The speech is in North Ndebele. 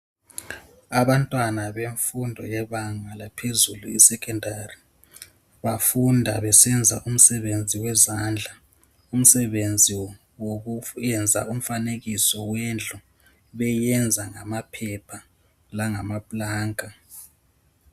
Abantwana bemfundo yebanga laphezulu esekhendari bafunda besenza umsebenzi wezandla, umsebenzi wokufu yenza umfanekiso wendlu beyenza ngamaphepha langamaplanka.